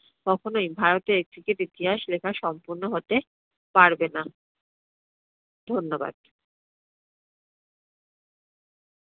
কখনোই ভারতের cricket ইতিহাস লেখা সম্পূর্ণ হতে পারবে না। ধন্যবাদ।